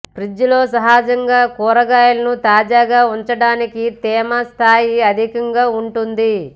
fridge లో సహజంగా కూరగాయాలను తాజాగా ఉంచడానికి తేమ స్థాయి అధికంగా ఉంటుంది